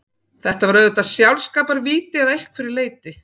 Þetta var auðvitað sjálfskaparvíti að einhverju leyti.